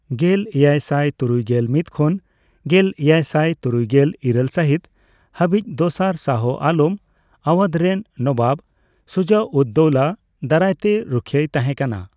ᱜᱮᱞ ᱮᱭᱟᱭ ᱥᱟᱭ ᱛᱩᱨᱩᱭᱜᱮᱞ ᱢᱤᱛ ᱠᱷᱚᱱ ᱜᱮᱞ ᱮᱭᱟᱭᱥᱟᱭ ᱛᱩᱨᱩᱭᱜᱮᱞ ᱤᱨᱟᱹᱞ ᱥᱟᱦᱤᱛ ᱦᱟᱹᱵᱤᱡ, ᱫᱚᱥᱟᱨ ᱥᱟᱦᱚ ᱟᱞᱚᱢ, ᱟᱣᱟᱫᱷ ᱨᱮᱱ ᱱᱚᱵᱟᱵ ᱥᱩᱡᱟᱼᱩᱫᱼᱫᱳᱣᱞᱟ ᱫᱟᱨᱟᱭᱛᱮ ᱨᱩᱠᱷᱤᱭᱟᱹᱭ ᱛᱟᱦᱮᱸ ᱠᱟᱱᱟ ᱾